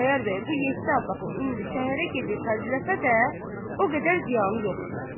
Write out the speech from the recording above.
Xudayar bəy bu yeddi Abbasın indi şəhərə gedib xərcləsə də, o qədər ziyanı yoxdur.